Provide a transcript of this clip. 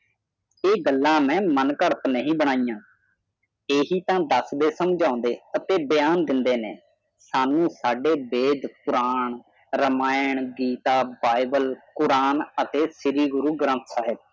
ਯੇ ਗਲ ਮੇਂ ਮਨ ਕਰਤ ਨ ਬਣਾਈਆਂ ਇਹੀ ਤਾ ਦੱਸਦੇ ਸਨ ਤੇ ਸਮਝਦੇ ਅੱਤੇ ਬਿਆਨ ਦੇਦੇ ਸਾਨੂ ਸਾਡੇ Ved Quran Ramayan Gita Bible Quran ਅਤੇ ਗੁਰੂ ਗ੍ਰੰਥ ਸਾਹਿਬ